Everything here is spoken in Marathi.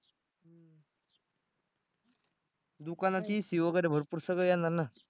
दुकानात AC वगैरे भरपूर सगळं येणार ना